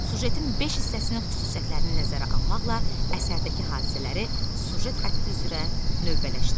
Süjetin beş hissəsinin xüsusiyyətlərini nəzərə almaqla əsərdəki hadisələri süjet xətti üzrə növbələşdir.